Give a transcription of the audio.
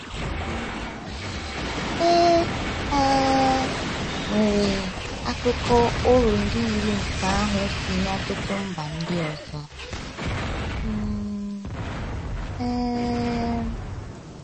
um E um nwere akụkọ oru ndị yiri nke ahụ si n’ọtụtụ mba ndị ọzọ um um.